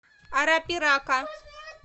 арапирака